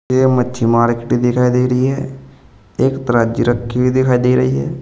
ये मच्छी मार्केट दिखाई दे रही है। एक तराजू रखी हुई दिखाई दे रही है।